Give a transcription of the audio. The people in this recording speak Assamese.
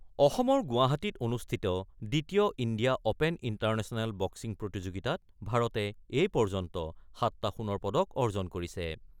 অসমৰ গুৱাহাটীত অনুষ্ঠিত দ্বিতীয় ইণ্ডিয়া অপেন ইণ্টাৰনেচনেল বক্সিং প্ৰতিযোগিতাত ভাৰতে এই পৰ্যন্ত ৭টা সোণৰ পদক অৰ্জন কৰিছে।